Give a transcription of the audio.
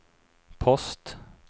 post